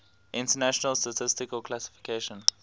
international statistical classification